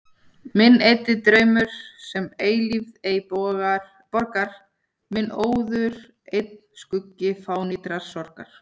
Minn eyddi draumur, sem eilífð ei borgar, minn óður einn skuggi fánýtrar sorgar.